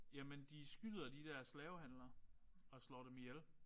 Jamen de skyder de der slavehandlere og slår dem ihjel